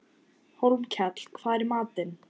Hólmkell, hvað er í matinn?